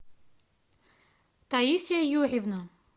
таисия юрьевна